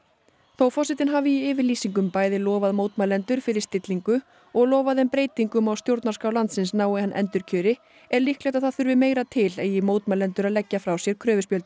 þó forsetinn hafi í yfirlýsingum bæði lofað mótmælendur fyrir stillingu og lofað þeim breytingum á stjórnarskrá landsins nái hann endurkjöri er líklegt að það þurfti meira til eigi mótmælendur að leggja frá sér